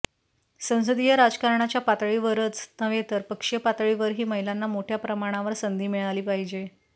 संसदीय राजकारणाच्या पातळीवरच नव्हे तर पक्षीय पातळीवरही महिलांना मोठय़ा प्रमाणावर संधी मिळाली पाहिजे